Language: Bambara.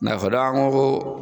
N'a fɔra an ko ko